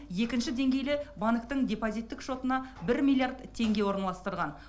екінші деңгейлі банктің депозиттік шотына бір миллиард теңге орналастырған